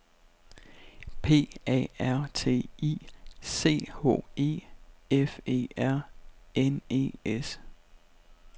P A R T I C H E F E R N E S